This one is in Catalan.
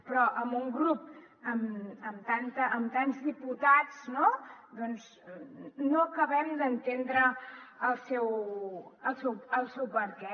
però amb un grup amb tants diputats no doncs no acabem d’entendre el seu perquè